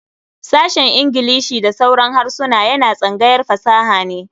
Sashen Ingilishi da sauran harsuna yana tsangayar fasaha ne.